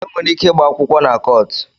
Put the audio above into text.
E nwere ike ịgba akwụkwọ na kọọtụ